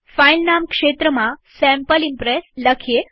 file નામ ક્ષેત્રમાં sample Impress લખીએ